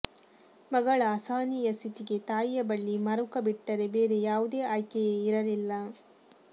ಮಗಳ ಅಸಹನೀಯ ಸ್ಥಿತಿಗೆ ತಾಯಿಯ ಬಳಿ ಮರುಕ ಬಿಟ್ಟರೆ ಬೇರೆ ಯಾವುದೇ ಆಯ್ಕೆಯೇ ಇರಲಿಲ್ಲ